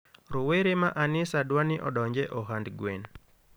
rowere ma anisa dwani odonje ohand gwen